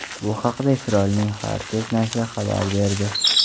Bu haqda Isroilning Haaretz nashri xabar berdi .